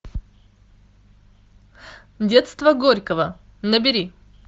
детство горького набери